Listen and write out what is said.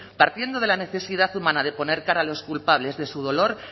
partiendo de la necesidad humana de poner cara a los culpables de su dolor